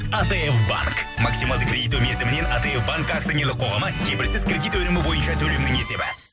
атф банк максималды кредиттеу мерзімінен атф банк ақционерлік қоғамы кепілсіз кредит өнімі бойынша төлемнің есебі